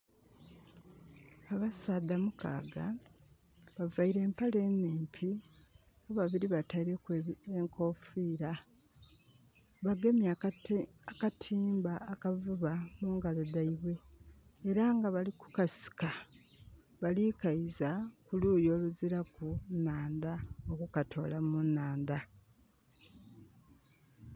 Abasaadha mukaaga, bavaile empale nhimpi. Ababiri bataileku enkoofira. Bagemye akatimba akavuba mungalo dhaibwe. Era nga bali kukasika, bali kaiza ku luuyi oluziraku nhandha, okukatoola mu nhandha.